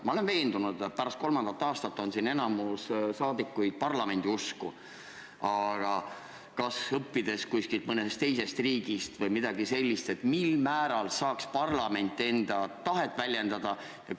Ma olen veendunud, et pärast kolmandat aastat on siin enamik saadikuid parlamendiusku, aga kas saaks mõnest teisest riigist õppida, kuidas saaks parlament paremini enda tahet väljendada?